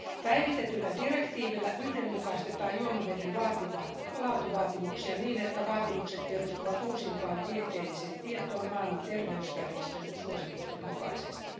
Päivitetyllä direktiivillä yhdenmukaistetaan juomaveden laatuvaatimuksia niin, että vaatimukset perustuvat uusimpaan tieteelliseen tietoon Maailman terveysjärjestön suositusten mukaisesti.